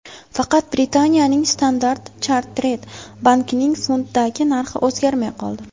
Faqat Britaniyaning Standard Chartered bankining funtdagi narxi o‘zgarmay qoldi.